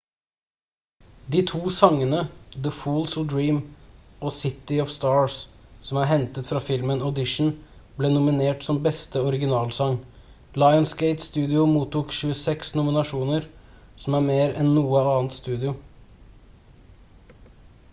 de to sangene the fools who dream og city of stars som er hentet fra filmen audition ble nominert som beste originalsang lionsgate-studio mottok 26 nominasjoner som er mer enn noe annet studio